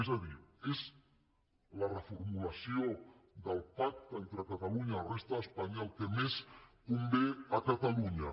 és a dir és la reformulació del pacte entre catalunya i la resta d’espanya el que més convé a catalunya